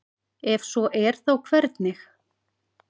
ef svo er þá hvernig